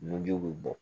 Nunjiw bɛ bɔ